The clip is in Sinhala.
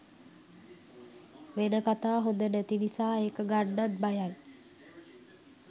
වෙන කතා හොඳ නැති නිසා ඒක ගන්නත් බයයි.